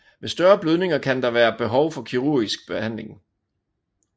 Ved større blødninger kan der være behov for kirurgisk behandling